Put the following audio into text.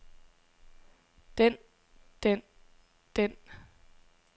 den den den